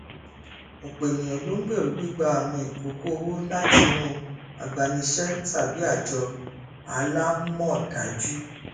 ọpọ ènìyàn ló ń gbèrú gbígbà àwọn ìkókọ owó látinú agbanisẹ tàbí ajọ alámọdájú